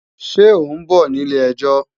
Ṣé ọ̀ ń bọ̀ ní ilé-ẹjọ́?